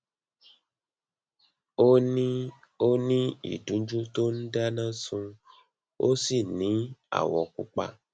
ó ní ó ní ìdunjú tó ń dáná sun ó sì ní awọ pupa